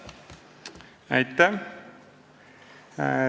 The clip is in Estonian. Aitäh!